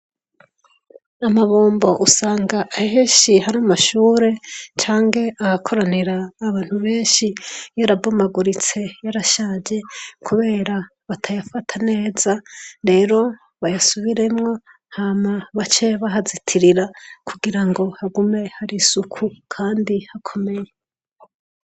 Amabombo usanga ahenshi hari amashure canke ahakoranira abantu benshi yarabomaguritse kubera batayafata neza lero bayasubiremwo baca bahazitira kugira hagume hari isuku Kandi hakomeye.